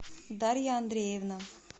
дарья андреевна